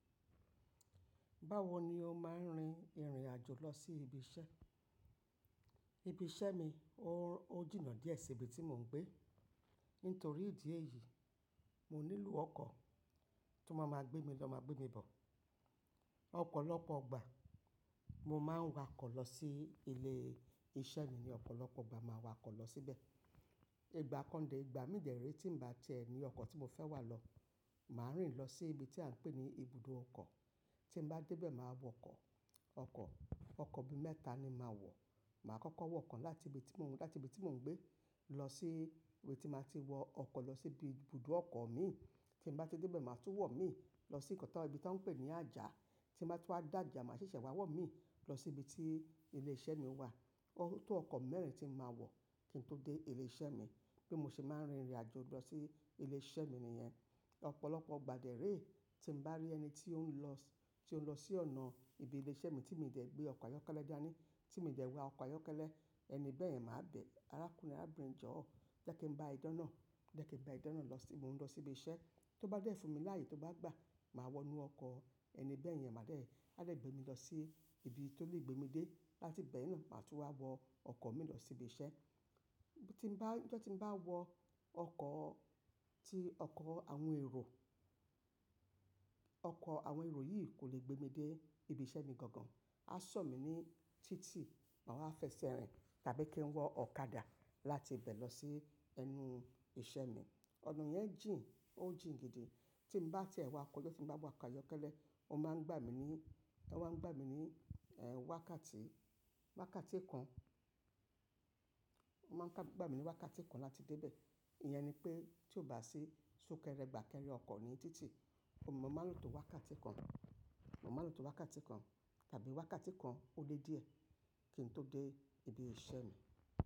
Báwo ni o máa ń rin ìrìn àjò lọ sí ibi iṣẹ́? Ibi iṣẹ́ mi ó ó jìnà díẹ̀ sí ibi tí mò ń gbé. Nítorí ìdí èyí, mo nílò ọkọ̀ tó máa máa gbé mi lọ máa gbé mi bọ̀. Ọ̀pọ̀lọpọ̀ gba mo máa ń wà ọkọ̀ lọ sí ilé iṣẹ́ mi ni ọ̀pọ̀lọpọ̀ ọgbà máa wà ọkọ̀ lọ síbẹ̀. Ìgbà kan dé ìgbà mi de rẹ́ tí ń bá ti ẹ ní ọkọ̀ tí mo fẹ́ wà lọ, màá rìn lọ sí ibi tí à ń pè ní ibùdó ọkọ̀. Tí mo bá dé bẹ̀ máa wọ ọkọ̀, ọkọ̀, ọkọ̀ bí mẹ́ta ni màá wọ. Màá kọ́kọ́ wọ kan láti ibi tí mò ń, láti ibi tí mò ń gbé lọ síbi tí máa ti wọ ọkọ̀ lọ sí ibùdó ọkọ̀ mi. Tí n bá ti dé bẹ̀ máa tún wọ mí lọ sí nǹkan tí, ibi tí wọ́n ń pè ní àjà. Tí n bá ti wá dé ajah màá ṣẹ̀ṣẹ̀ wá wọ mí lọ sí ibi tí ilé iṣẹ́ mi wà. Tó ọkọ̀ mẹ́rin tí màá wọ kí n tó dé ilé iṣẹ́ mi. Bí mo ṣe máa ń rin ìrìn àjò lọ sí ilé iṣẹ́ mi nìyẹn. Ọ̀pọ̀lọpọ̀ gba dé rẹ́ tí ń bá rí ẹni tí ó ń lọ, tí ó ń lọ sí ọ̀nà ibi ilé iṣẹ́ mi tí mi ò dẹ̀ gbé ọkọ̀ ayọ́kẹ́lẹ́ dání, tí mi ò dẹ̀ wá ọkọ̀ ayọ́kẹ́lẹ́, ẹni bẹ́ẹ̀ ni màá bẹ̀. "Arákùnrin, arábìnrin jọ̀ọ́, jẹ́ kí ń bá ẹ de ọ̀nà, jẹ́ kí ń bá ẹ de ọ̀nà lọ sí, mò ń lọ sí ibi iṣẹ́." Tó bá dẹ̀ fún mi láàyè tó bá gbà, màá wọ inú ọkọ̀. Ẹni bẹ́ẹ̀ ni màá dẹ̀, á dẹ̀ gbé mi lọ sí ibi tó lè gbé mi dé. Láti bẹ̀ náà màá tún wá wọ ọkọ̀ mi lọ sí ibi iṣẹ́. Tí ń bá, tí ó tí ń bá wọ ọkọ̀ tí ọkọ̀ àwọn èrò. Ọkọ̀ àwọn èrò yìí kò lè gbé mi dé ibi iṣẹ́ mi gangan. A sọ̀ mí ní títì, màá wá fẹsẹ̀ rìn tàbí kí n wọ ọ̀kadà láti ibẹ̀ lọ sí ẹnu iṣẹ́ mi. Ọ̀nà yẹn jìn, ó jìn gidi. Tí ń bá ti ẹ wá ọkọ̀ yó tí ń bá wọ ọkọ̀ ayọ́kẹ́lẹ́, ó máa ń gbà mí ní, ẹ wá ń gbà mí ní, ẹ́ wákàtí, wákàtí kan. Wọ́n máa ń gbà mí ní wákàtí kan láti dé bẹ̀. Ìyẹn ni pé tí ó bá sì sún kẹrẹ, gbà kẹrẹ ọkọ̀ ní títì, mo máa ń lo tó wákàtí kan. Mo máa ń lo tó wákàtí kan tàbí wákàtí kan ó lé díẹ̀ kí n tó dé ibi iṣẹ́ mi.